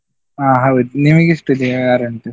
ಅಹ್ ಹೌದ್, ನಿಮ್ಗೆ ಎಷ್ಟು ವಾರ ಉಂಟು?